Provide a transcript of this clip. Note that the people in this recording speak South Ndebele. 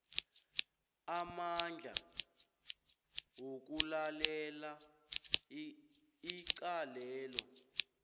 amandla wokulalela icalelo